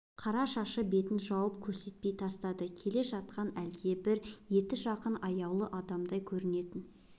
қара шашы бетін жауып көрсетпей тастады келе жатқан әлдебір еті жақын аяулы адамдай көрінетін